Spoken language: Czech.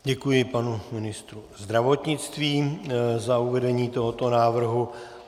Děkuji, panu ministru zdravotnictví za uvedení tohoto návrhu.